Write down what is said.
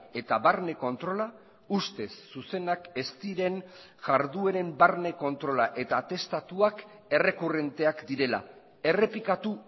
eta barne kontrola ustez zuzenak ez diren jardueren barne kontrola eta atestatuak errekurrenteak direla errepikatu